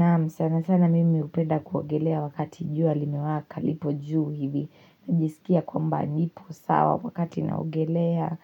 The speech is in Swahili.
Naam, sana sana mimi upenda kuogelea wakati juu limewaka, lipo juu hivi, najisikia kwamba nipo sawa wakati naogelea,